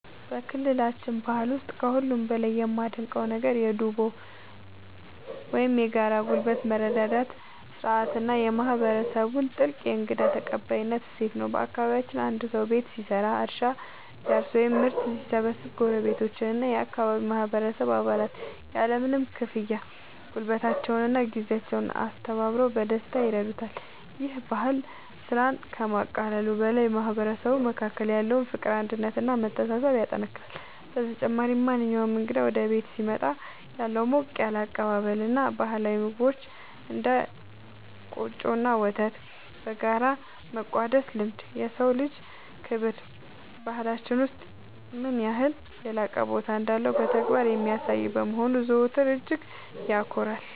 በክልላችን ባህል ውስጥ ከሁሉ በላይ የማደንቀው ነገር የ"ዱቦ" (Dubo) ወይም የጋራ ጉልበት መረዳዳት ሥርዓት እና የማህበረሰቡን ጥልቅ የእንግዳ ተቀባይነት እሴት ነው። በአካባቢያችን አንድ ሰው ቤት ሲሰራ፣ እርሻ ሲያርስ ወይም ምርት ሲሰበስብ ጎረቤቶችና የአካባቢው ማህበረሰብ አባላት ያለምንም ክፍያ ጉልበታቸውንና ጊዜያቸውን አስተባብረው በደስታ ይረዱታል። ይህ ባህል ስራን ከማቃለሉ በላይ በማህበረሰቡ መካከል ያለውን ፍቅር፣ አንድነት እና መተሳሰብ ያጠናክራል። በተጨማሪም፣ ማንኛውም እንግዳ ወደ ቤት ሲመጣ ያለው ሞቅ ያለ አቀባበል እና ባህላዊ ምግቦችን (እንደ ቆጮ እና ወተት) በጋራ የመቋደስ ልማድ፣ የሰው ልጅ ክብር በባህላችን ውስጥ ምን ያህል የላቀ ቦታ እንዳለው በተግባር የሚያሳይ በመሆኑ ዘወትር እጅግ ያኮራኛል።